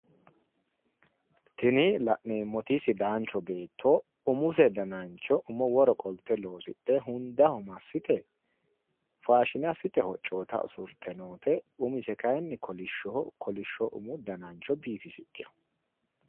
Tini la'neemmoti sidaancho beetto umise danancho umo woro qolte loosidhe hundaho massite faashine assite hoccoota usurte noote umise kaayiinni kolishshoho kolishsho umu dana biifisidhewo.